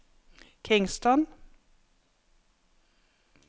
Kingston